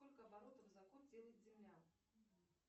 сколько оборотов за год делает земля